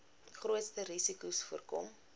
grootste risikos voorkom